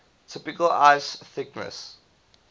typical ice thickness